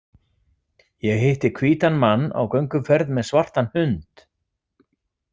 Ég hitti hvítan mann á gönguferð með svartan hund.